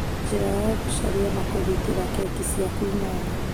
Njĩra ya gũcaria na kũgitĩra keki ciaku inyanya